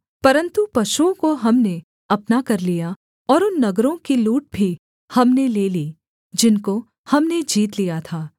परन्तु पशुओं को हमने अपना कर लिया और उन नगरों की लूट भी हमने ले ली जिनको हमने जीत लिया था